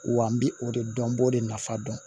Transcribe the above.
Wa n bɛ o de dɔn n b'o de nafa dɔn